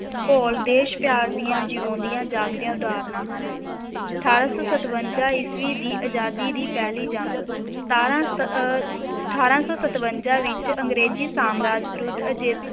ਘੋਲ ਦੇਸ਼ ਪਿਆਰ ਦੀਆਂ ਜਿਉਂਦੀਆਂ ਜਾਗਦੀਆਂ ਉਦਾਹਰਨਾਂ ਹਨ, ਅਠਾਰਾਂ ਸੌ ਸਤਵੰਜਾ ਈਸਵੀ ਦੀ ਆਜ਼ਾਦੀ ਦੀ ਪਹਿਲੀ ਜੰਗ, ਸਤਾਰਾਂ ਤ~ ਅਹ ਅਠਾਰਾਂ ਸੌ ਸਤਵੰਜਾ ਵਿੱਚ ਅੰਗਰੇਜ਼ੀ ਸਾਮਰਾਜ ਵਿਰੁੱਧ ਅਜ~